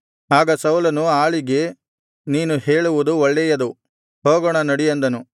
ಆಗ ಸೌಲನು ಆಳಿಗೆ ನೀನು ಹೇಳುವುದು ಒಳ್ಳೆಯದು ಹೋಗೋಣ ನಡಿ ಅಂದನು